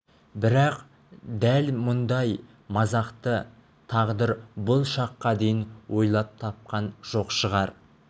бірақ дәл мұндай мазақты тағдыр бұл шаққа дейін ойлап тапқан жоқ шығар